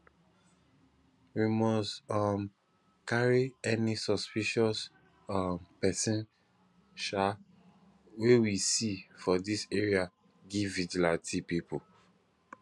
we must um carry any suspicious um person um wey we see for dis area give vigilante pipu